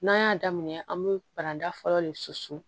N'an y'a daminɛ an be paranta fɔlɔ le susu